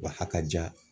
Wa a kaja